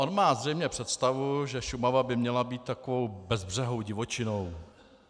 On má zřejmě představu, že Šumava by měla být takovou bezbřehou divočinou.